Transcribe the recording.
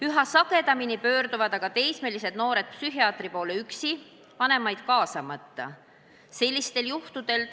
Üha sagedamini pöörduvad aga teismelised psühhiaatri poole üksi, vanemaid kaasamata.